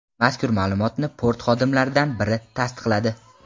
Mazkur ma’lumotni port xodimlaridan biri tasdiqladi.